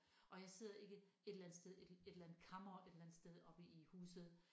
Og jeg sidder ikke et eller andet sted et et eller andet kammer et eller andet sted oppe i huset